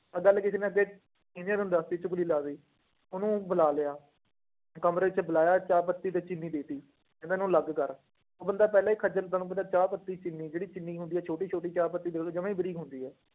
ਆਹ ਗੱਲ ਕਿਸੇ ਨੇ ਅੱਗੇ ਨੂੰ ਦੱਸ ਦਿੱਤੀ ਚੁੱਗਲੀ ਲਾ ਦਿੱਤੀ, ਉਹਨੂੰ ਬੁਲਾ ਲਿਆ, ਤੇ ਕਮਰੇ ਚ ਬੁਲਾਇਆ ਚਾਹ ਪੱਤੀ ਤੇ ਚੀਨੀ ਦੇ ਦਿੱਤੀ, ਇਹਨਾਂ ਨੂੰ ਅਲੱਗ ਕਰ, ਉਹ ਬੰਦਾ ਪਹਿਲਾਂ ਹੀ ਖੱਝਲ ਤੁਹਾਨੂੰ ਪਤਾ ਚਾਹ ਪੱਤੀ ਚੀਨੀ ਜਿਹੜੀ ਚੀਨੀ ਹੁੰਦੀ ਆ, ਛੋਟੀ ਛੋਟੀ ਚਾਹ ਪੱਤੀ ਦੇਖ ਲਓ ਜਮਾ ਹੀ ਬਰੀਕ ਹੁੰਦੀ ਆ।